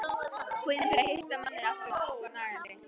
Kvíðinn yfir því að hitta manninn aftur var nagandi.